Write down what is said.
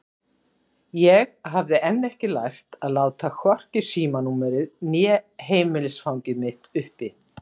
Ég hafði enn ekki lært að láta hvorki símanúmerið né heimilisfangið mitt uppi.